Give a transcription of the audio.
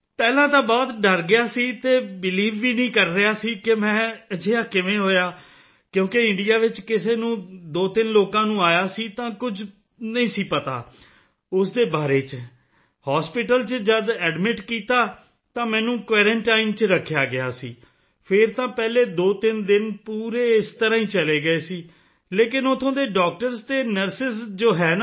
ਪਹਿਲਾਂ ਤਾਂ ਬਹੁਤ ਡਰ ਗਿਆ ਸੀ ਤੇ ਬੀਲੀਵ ਵੀ ਨਹੀਂ ਕਰ ਰਿਹਾ ਸੀ ਮੈਂ ਕਿ ਅਜਿਹਾ ਕਿਵੇਂ ਹੋਇਆ ਕਿਉਂਕਿ ਇੰਡੀਆ ਵਿੱਚ ਕਿਸੇ ਨੂੰ 23 ਲੋਕਾਂ ਨੂੰ ਆਇਆ ਸੀ ਤਾਂ ਕੁਝ ਨਹੀਂ ਪਤਾ ਸੀ ਉਸ ਦੇ ਬਾਰੇ ਵਿੱਚ ਹਾਸਪਿਟਲ ਵਿੱਚ ਜਦ ਐਡਮਿਟ ਕੀਤਾ ਤਾਂ ਮੈਨੂੰ ਕੁਆਰੰਟਾਈਨ ਵਿੱਚ ਰੱਖਿਆ ਸੀ ਫਿਰ ਤਾਂ ਪਹਿਲੇ 23 ਦਿਨ ਪੂਰੇ ਇਸ ਤਰ੍ਹਾਂ ਹੀ ਚਲੇ ਗਈ ਸੀ ਲੇਕਿਨ ਉੱਥੋਂ ਦੇ ਡਾਕਟਰਸ ਅਤੇ ਨਰਸ ਜੋ ਹੈ ਨਾ